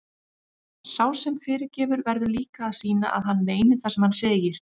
Sá sem fyrirgefur verður líka að sýna að hann meini það sem hann segir.